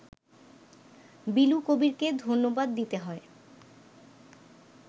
বিলু কবীরকে ধন্যবাদ দিতে হয়